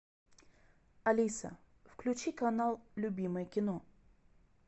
алиса включи канал любимое кино